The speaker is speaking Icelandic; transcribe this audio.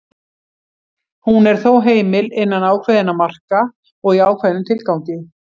Hún er þó heimil innan ákveðinna marka og í ákveðnum tilgangi.